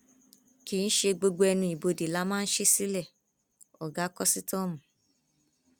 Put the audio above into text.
kì í ṣe gbogbo ẹnuibodè la máa ṣí sílẹ ọgá kòsítọọmù